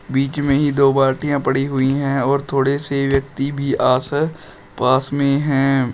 बीच में ही दो बाल्टीया पड़ी हुई हैं और थोड़े से व्यक्ति भी आस है पास में हैं।